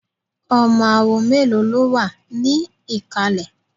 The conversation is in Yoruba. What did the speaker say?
Ọmọ awo mélòó ló wà ní ìkàlẹ̀?